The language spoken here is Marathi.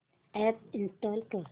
अॅप इंस्टॉल कर